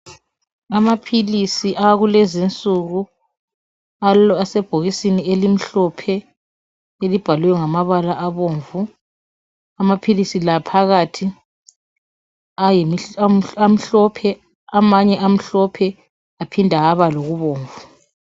Amaphilisi akulezi insuku asebhokisini elimhlophe elibhalwe ngamabala abomvu .Amaphilisi la phakathi amhlophe, amanye amhlophe aphinda abalokubomvu.